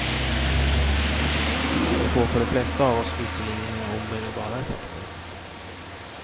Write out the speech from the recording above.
Det får för de flesta av oss visserligen inga omedelbara effekter.